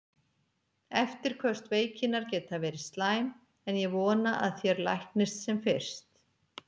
Eftirköst veikinnar geta verið slæm, en ég vona að þér læknist sem fyrst.